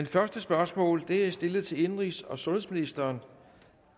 første spørgsmål er stillet til indenrigs og sundhedsministeren